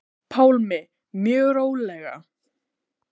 Pálmi: Mjög rólega?